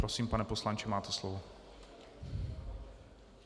Prosím, pane poslanče, máte slovo.